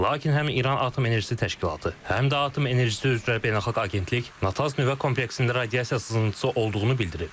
Lakin həm İran Atom Enerjisi Təşkilatı, həm də Atom Enerjisi üzrə Beynəlxalq Agentlik Natanz nüvə kompleksində radiasiya sızıntısı olduğunu bildirib.